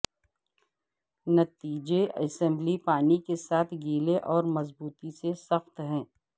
نتیجے اسمبلی پانی کے ساتھ گیلے اور مضبوطی سے سخت ہے